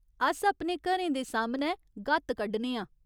अस अपने घरें दे सामनै गत्त कड्ढने आं।